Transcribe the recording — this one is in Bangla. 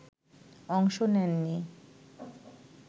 অংশ নেননি